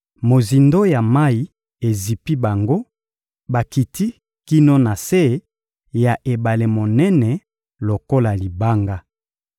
Mozindo ya mayi ezipi bango, bakiti kino na se ya ebale monene lokola libanga.